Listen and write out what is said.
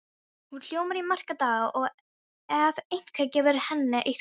Hún ljómar í marga daga ef einhver gefur henni eitthvað.